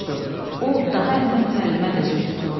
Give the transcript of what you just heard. O daha Əhməd müəllimə də züy tutmurdu.